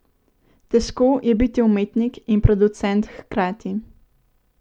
Težko je biti umetnik in producent hkrati.